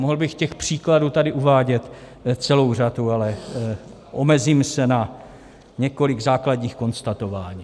Mohl bych těch příkladů tady uvádět celou řadu, ale omezím se na několik základních konstatování.